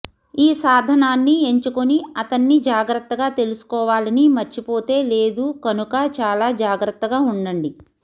ఒక సాధనాన్ని ఎంచుకుని అతన్ని జాగ్రత్తగా తీసుకోవాలని మర్చిపోతే లేదు కనుక చాలా జాగ్రత్తగా ఉండండి